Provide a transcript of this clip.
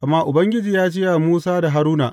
Amma Ubangiji ya ce wa Musa da Haruna.